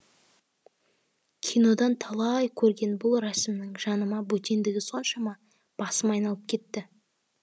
кинодан талай көрген бұл рәсімнің жаныма бөтендігі соншама басым айналып кетті